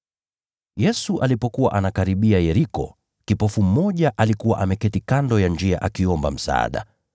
Yesu alipokuwa anakaribia Yeriko, kipofu mmoja alikuwa ameketi kando ya njia akiomba msaada.